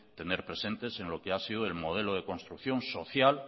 tener presentes en lo que ha sido el modelo de construcción social